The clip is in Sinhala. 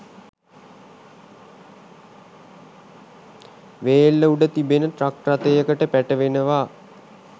වේල්ල උඩ තිබෙන ට්‍රක් රථයකට පැටවෙනවා.